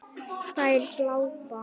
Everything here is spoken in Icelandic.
Þær glápa.